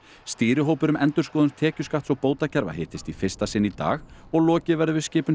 stýrihópur um endurskoðun tekjuskatts og bótakerfa hittist í fyrsta sinn í dag og lokið verður við skipun